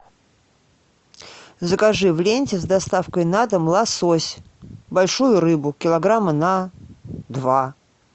закажи в ленте с доставкой на дом лосось большую рыбу килограмма на два